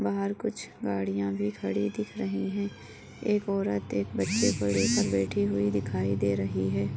बाहर कुछ गाड़िया भी खड़ी दिख रही है एक औरत एक बच्चे को लेकर बैठी हुई दिखाई दे रही है।